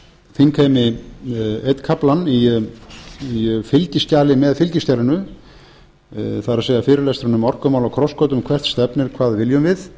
þingheimi einn kaflann í fylgiskjali með fylgiskjalinu það er fyrirlesturinn um orkumál á krossgötum hvert stefnir hvað viljum við